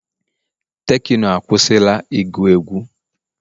tekno akwụsịla ịgu egwu